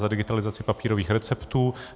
Za digitalizaci papírových receptů.